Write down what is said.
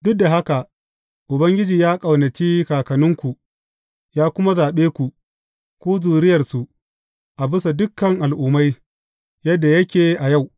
Duk da haka Ubangiji ya ƙaunaci kakanninku, ya kuma zaɓe ku, ku zuriyarsu, a bisa dukan al’ummai, yadda yake a yau.